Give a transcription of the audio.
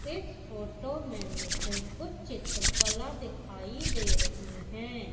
इस फोटो में मुझे कुछ चित्रकला दिखाई दे रही है।